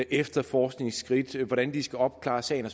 efterforskningsskridt og hvordan de skal opklare sagen og